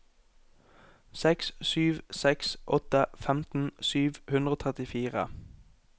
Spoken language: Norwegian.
seks sju seks åtte femten sju hundre og trettifire